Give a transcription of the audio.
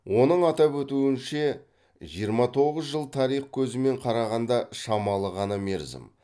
оның атап өтуінше жиырма тоғыз жыл тарих көзімен қарағанда шамалы ғана мерзім